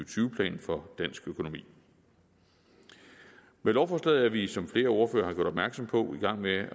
tyve plan for dansk økonomi med lovforslaget er vi som flere ordførere har gjort opmærksom på i gang med